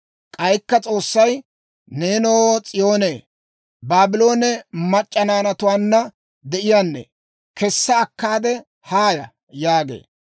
K'aykka S'oossay, «Neenoo, s'iyoonee, Baabloone mac'c'a naanatuwaanna de'iyaanne kessa akkaade haaya!» yaagee.